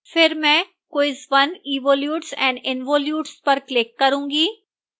फिर में मैं quiz 1evolutes and involutes पर click करूंगी